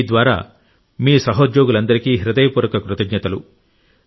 మీ ద్వారా మీ సహోద్యోగులందరికీ హృదయపూర్వక కృతజ్ఞతలు